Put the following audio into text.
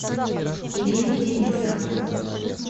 ирину денисову